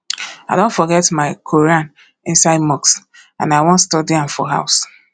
i don forget my quran inside mosque and i wan study am for house